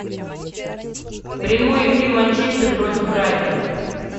прямой эфир манчестер против брайтона